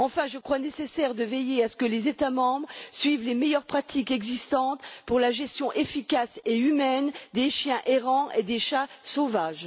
Enfin, je crois nécessaire de veiller à ce que les États membres suivent les meilleures pratiques existantes pour la gestion efficace et humaine des chiens errants et des chats sauvages.